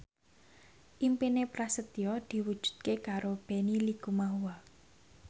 impine Prasetyo diwujudke karo Benny Likumahua